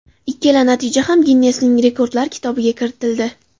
Ikkala natija ham Ginnesning rekordlar kitobiga kiritildi.